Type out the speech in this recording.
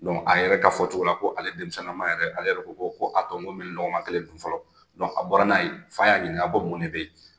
Dɔnku a yɛrɛ ka fɔ cogo la, ko ale denmisɛnama yɛrɛ, ale yɛrɛ ko ko a to n ko n bɛ nin lɔgɔma kelen dun fɔlɔ , a bɔra n'a ye fa y'a ɲinika ko a mun de bɛ yen?